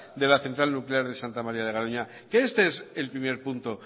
de la central nuclear de santa maría de garoña este es el primer punto